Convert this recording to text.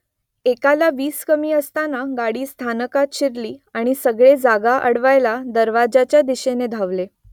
एकला वीस कमी असताना गाडी स्थानकात शिरली आणि सगळे जागा अडवायला दरवाज्याच्या दिशेने धावले